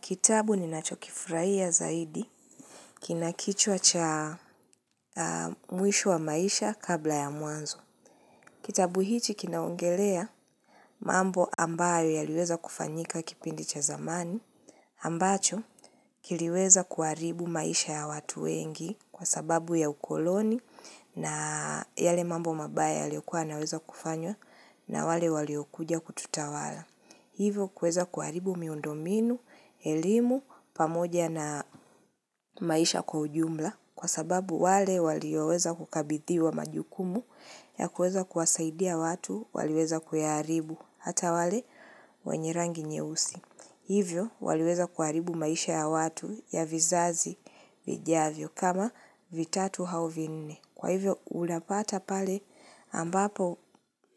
Kitabu ni nacho kifurahia zaidi, kinakichwa cha muisho wa maisha kabla ya muanzo. Kitabu hichi kinaongelea mambo ambayo yaliweza kufanyika kipindi cha zamani, ambacho kiliweza kuaribu maisha ya watu wengi kwa sababu ya ukoloni na yale mambo mabaya yaliokuwa naweza kufanywa na wale waliokuja kututawala. Hivyo kuweza kuharibu miundo minu, elimu, pamoja na maisha kujumla kwa sababu wale walioweza kukabithiwa majukumu ya kuweza kuwasaidia watu waliweza kuyaharibu hata wale wenye rangi nyeusi. Hivyo waliweza kuharibu maisha ya watu ya vizazi vijavyo kama vitatu hau vinne. Kwa hivyo ulapata pale ambapo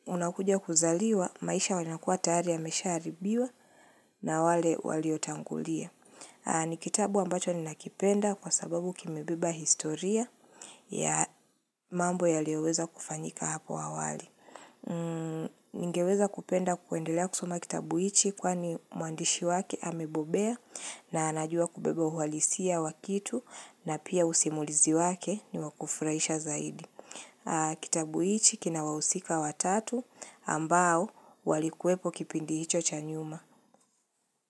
unakuja kuzaliwa maisha wanakua tayari ya mesha haribiwa na wale waliotangulia. Ni kitabu ambacho ni nakipenda kwa sababu kimebeba historia ya mambo yaliyoweza kufanyika hapo awali. Ningeweza kupenda kuendelea kusoma kitabu hichi kwani muandishi wake amebobea na anajua kubebe uhalisia wa kitu na pia usimulizi wake ni wakufraisha zaidi. Kitabu hichi kina wahusika watatu ambao walikuwepo kipindi hicho cha nyuma.